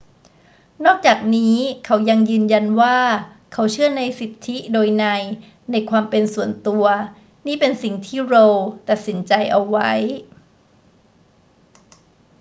นอกจากนี้เขายังยืนยันว่าเขาเชื่อในสิทธิโดยนัยในความเป็นส่วนตัว นี่เป็นสิ่งที่ roe ตัดสินใจเอาไว้